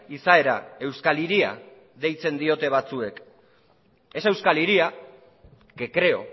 izaera euskal hiria deitzen diote batzuek esa euskal hiria que creo